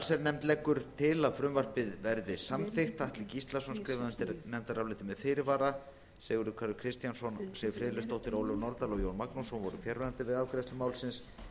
allsherjarnefnd leggur til að frumvarpið verði samþykkt atli gíslason skrifar undir nefndarálitið með fyrirvara sigurður kári kristjánsson siv friðleifsdóttir ólöf nordal og jón magnússon voru fjarverandi við afgreiðslu málsins en undir